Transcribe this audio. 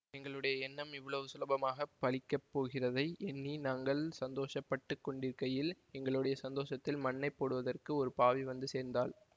எங்களுடைய எண்ணம் இவ்வளவு சுலபமாகப் பலிக்கப் போகிறதை எண்ணி நாங்கள் சந்தோஷப்பட்டுக் கொண்டிருக்கையில் எங்களுடைய சந்தோஷத்தில் மண்ணைப் போடுவதற்கு ஒரு பாவி வந்து சேர்ந்தாள்